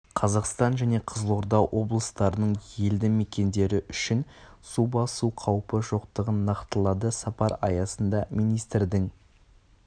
қазақстан және қызылорда облыстарының елді мекендері үшін су басу қауіпі жоқтығын нақтылады сапар аясында министрдің